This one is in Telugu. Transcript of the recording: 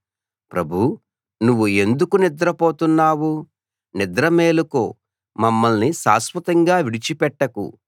ప్రభూ నువ్వు ఎందుకు నిద్రపోతున్నావు నిద్ర మేలుకో మమ్మల్ని శాశ్వతంగా విడిచి పెట్టకు